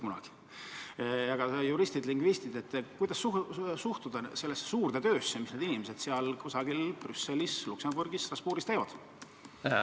Kuidas suhtuda sellesse suurde töösse, mida juristid-lingvistid, need inimesed seal kusagil Brüsselis, Luxembourgis või Strasbourgis teevad?